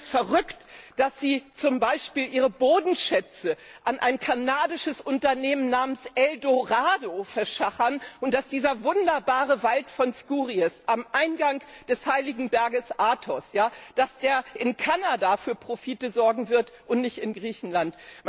Ich finde es verrückt, dass Sie zum Beispiel Ihre Bodenschätze an ein kanadisches Unternehmen namens El Dorado verschachern und dass dieser wunderbare Wald von Skouries am Eingang des Heiligen Bergs Athos in Kanada für Profite sorgen wird und nicht in Griechenland!